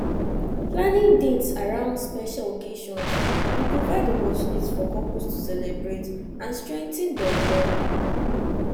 planning dates around special occasions dey provide opportunities for couples to celebrate and strengthen dem bond